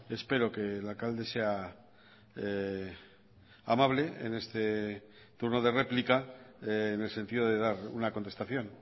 espero que el alcalde sea amable en este turno de réplica en el sentido de dar una contestación